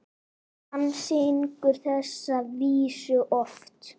Hann syngur þessar vísur oft.